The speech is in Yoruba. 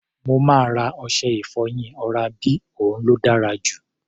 Mo máa ra ọṣẹ-ìfọyín oral B, òun ló dára jù.